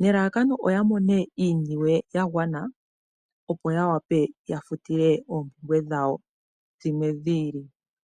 nelalakano oya mone iiniwe ya gwana opo ya wape ya futile oompumbwe dhawo dhi ili.